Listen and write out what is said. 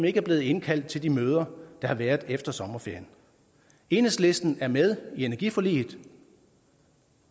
ikke er blevet indkaldt til de møder der har været efter sommerferien enhedslisten er med i energiforliget